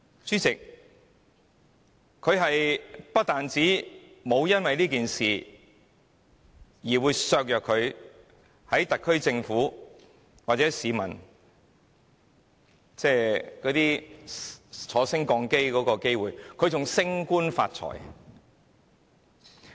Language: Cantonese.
主席，她不單沒有因此事而影響了在特區政府的晉升的機會，還升官發財。